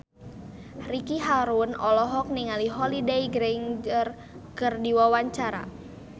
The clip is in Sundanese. Ricky Harun olohok ningali Holliday Grainger keur diwawancara